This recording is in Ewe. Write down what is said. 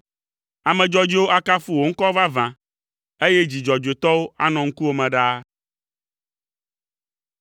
Ame dzɔdzɔewo akafu wò ŋkɔ vavã, eye dzi dzɔdzɔetɔwo anɔ ŋkuwò me ɖaa.